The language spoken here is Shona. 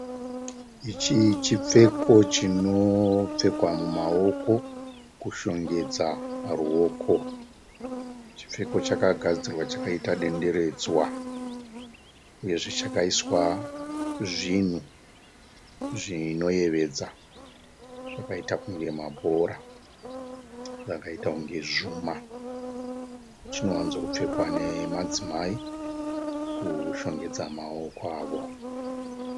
Ichi chipfeko chinopfekwa mumaoko kushongedza ruoko. Chipfeko chakagadzirwa chakaita denderedzwa uyezve chakaiswa zvinhu zvinoyevedza zvakaita kunge mabhora zvakaita kunge zvuma. Chinowanzokupfekwa nemadzimai kushongedza maoko awo.